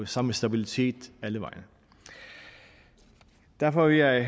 samme stabilitet alle vegne derfor vil jeg